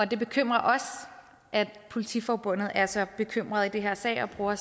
det bekymrer os at politiforbundet er så bekymret i den her sag og bruger